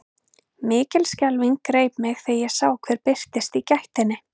Mikil skelfing greip mig þegar ég sá hver birtist í gættinni.